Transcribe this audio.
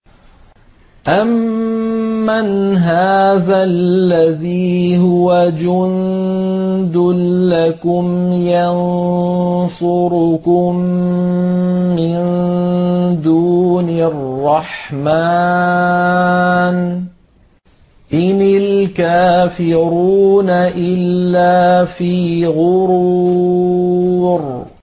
أَمَّنْ هَٰذَا الَّذِي هُوَ جُندٌ لَّكُمْ يَنصُرُكُم مِّن دُونِ الرَّحْمَٰنِ ۚ إِنِ الْكَافِرُونَ إِلَّا فِي غُرُورٍ